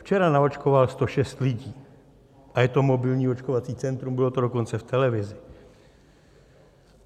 Včera naočkoval 106 lidí a je to mobilní očkovací centrum, bylo to dokonce v televizi.